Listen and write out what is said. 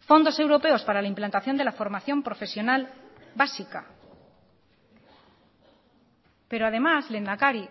fondos europeos para la implantación de la formación profesional básica pero además lehendakari